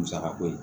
Musaka ko ye